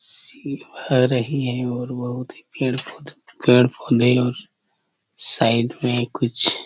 रही है और बहुत ही पेड़-पौधे पेड़-पौधे और साइड में कुछ--